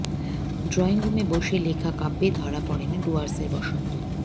ড্রয়িংরুমে বসে লেখা কাব্যে ধরা পড়ে না ডুয়ার্সের বসন্ত